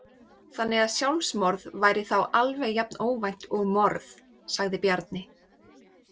Þannig að sjálfsmorð væri þá alveg jafn óvænt og morð, sagði Bjarni.